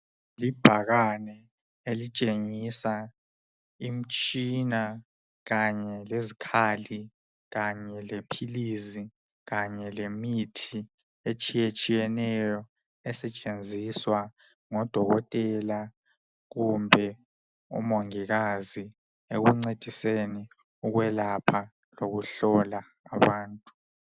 Libhakani elitshengisa imitshina kanye lezikhali kanye lephilisi kanye lemithi etshiyetshiyeneyo esetshenziswa ngodokotela kumbe omongikazi ekuncediseni ukwelapha lokuhlola abantu.